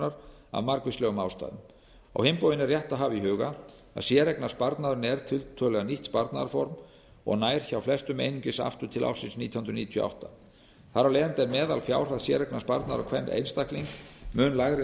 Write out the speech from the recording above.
skammtímalánsfjármögnunar af margvíslegum ástæðum á hinn bóginn er rétt að hafa í huga að séreignarsparnaðurinn er tiltölulega nýtt sparnaðarform og nær hjá flestum einungis aftur til ársins nítján hundruð níutíu og átta þar af leiðandi er meðalfjárhæð séreignarsparnaðar á hvern einstakling mun lægri en